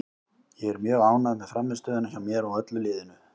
Ég er mjög ánægð með frammistöðuna hjá mér og öllu liðinu.